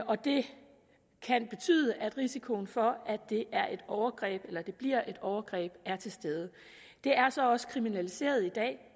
og det kan betyde at risikoen for at det er et overgreb eller at det bliver et overgreb er til stede det er så også kriminaliseret i dag